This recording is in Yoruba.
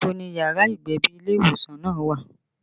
Ibo ni yàrá ìgbẹ̀bí ilé ìwòsàn náà wà?